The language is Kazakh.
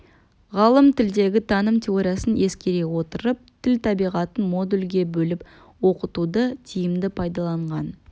ғалым тілдегі таным теориясын ескере отырып тіл табиғатын модульге бөліп оқытуды тиімді пайдаланған